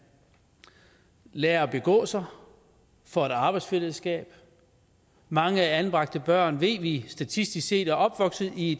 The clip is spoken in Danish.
lærer at begå sig får et arbejdsfællesskab mange anbragte børn ved vi statistisk set er opvokset i